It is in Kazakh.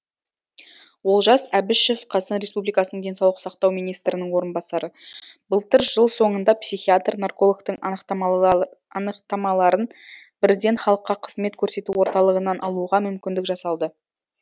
олжас әбішев қазақстан республикасы денсаулық сақтау министрінің орынбасары былтыр жыл соңында психиатр наркологтың анықтамаларын бірден халыққа қызмет көрсету орталығынан алуға мүмкіндік жасалды